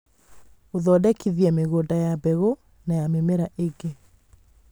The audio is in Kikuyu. Gũthondekithia mĩgũnda ya mbegũ na ya mĩmera ĩngĩ.